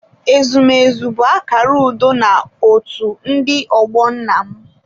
Ezumezu bụ akara udo na otu ndị ọgbọ nna m.